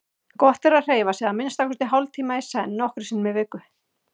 Gott er að hreyfa sig að minnsta kosti hálftíma í senn nokkrum sinnum í viku.